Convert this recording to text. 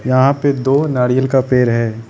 यहा पे दो नारियल का पेड़ है।